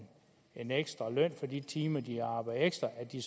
en ekstra løn for de timer de har arbejdet ekstra at de